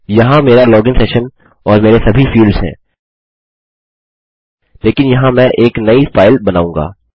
यहाँ मेरा login session और मेरे सभी फील्ड्स हैं लेकिन यहाँ मैं एक नई फाइल बनाऊँगा